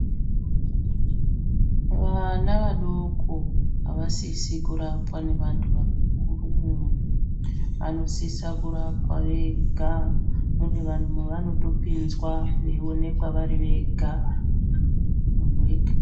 Vana vadoko avasisi kurapwa nevanahu vakuru vanosisa kurapwa vega munemevanotopinzwa veioneka vari vega.